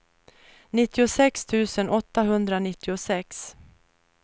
nittiosex tusen åttahundranittiosex